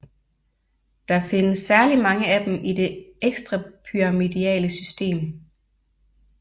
Der findes særlig mange af dem i det ekstrapyramidale system